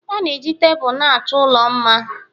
Ana eji Tebụl na-achọ ụlọ mma